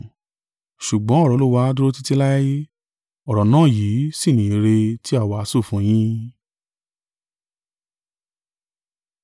ṣùgbọ́n ọ̀rọ̀ Olúwa dúró títí láé.” Ọ̀rọ̀ náà yìí sì ni ìyìnrere tí a wàásù fún yín.